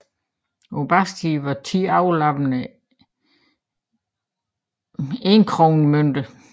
På bagsiden var ti overlappende enkronemønter